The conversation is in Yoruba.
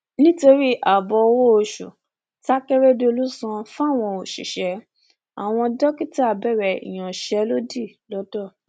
nítorí ààbò owóoṣù takérédọlù ń san fáwọn òṣìṣẹ àwọn dókítà bẹrẹ ìyansẹlódì lońdó